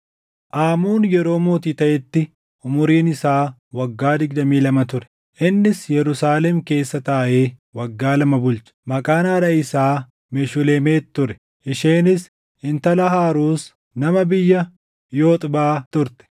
Aamoon yeroo mootii taʼetti umuriin isaa waggaa digdamii lama ture; innis Yerusaalem keessa taaʼee waggaa lama bulche. Maqaan haadha isaa Meshulemet ture; isheenis intala Haaruus nama biyya Yoxbaa turte.